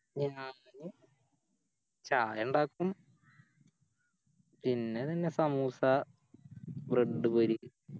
ഞാന് ചായണ്ടാക്കും പിന്നെ അതെന്നെ സമൂസ Bread പൊരി